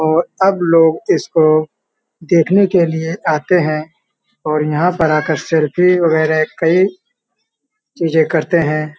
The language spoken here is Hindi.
और अब लोग इसको देखने के लिए आते हैं और यहाँ पर आकर सेल्फी वगैरह कई चीज़े करते हैं।